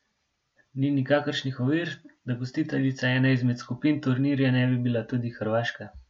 Ni nikakršnih ovir, da gostiteljica ene izmed skupin turnirja ne bi bila tudi Hrvaška.